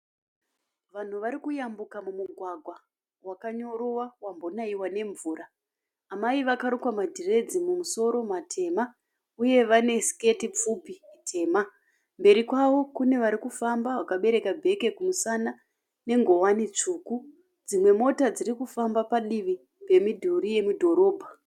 Vanhu varikuyambuka mumugwagwa wakanyorova, wambonaiwa nemvura. Amai vakarukwa madhiredzi mumusoro matema. Uye vane siketi pfupi tema. Mberi kwavo kunevarikufamba vakabereka bheke kumusana nenguwani tsvuku. Dzimwe mota dzirikufamba padivi pemidhuri yemudhorobha.